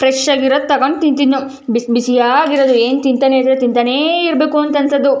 Fresh ಆಗಿರೋದ್ ತಗೊಂಡು ತಿಂತೀವಿ ಬಿಸಿಬಿಸಿಯಾಗಿರೋದು ಏನು ತಿಂತಾನೆ ಇದ್ರೆ ತಿಂತಾನೆ ಇರ್ಬೇಕು ಅಂತ ಅನಿಸೋದು.